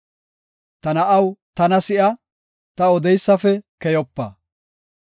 Ta na7aw, tana si7a; ta odeysafe keyopa.